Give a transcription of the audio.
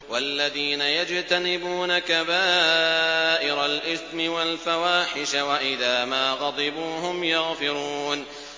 وَالَّذِينَ يَجْتَنِبُونَ كَبَائِرَ الْإِثْمِ وَالْفَوَاحِشَ وَإِذَا مَا غَضِبُوا هُمْ يَغْفِرُونَ